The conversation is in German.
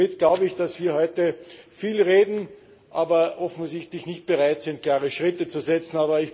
Somit glaube ich, dass wir heute viel reden, aber offensichtlich nicht bereit sind, klare Schritte zu setzen.